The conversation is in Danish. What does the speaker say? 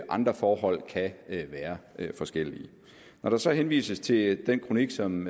andre forhold kan være forskellige når der så henvises til den kronik som